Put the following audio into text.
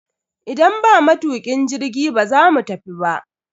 Idan ba matukin jirgi, ba za mu tafi ba.